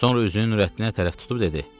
Sonra üzünü Nurəddinə tərəf tutub dedi: